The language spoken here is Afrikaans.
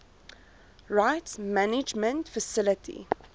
rights management facility